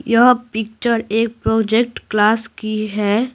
यह पिक्चर एक project class की है।